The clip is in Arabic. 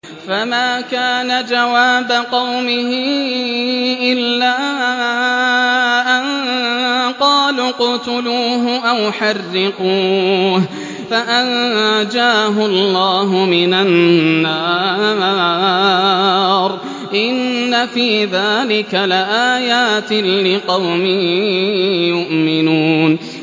فَمَا كَانَ جَوَابَ قَوْمِهِ إِلَّا أَن قَالُوا اقْتُلُوهُ أَوْ حَرِّقُوهُ فَأَنجَاهُ اللَّهُ مِنَ النَّارِ ۚ إِنَّ فِي ذَٰلِكَ لَآيَاتٍ لِّقَوْمٍ يُؤْمِنُونَ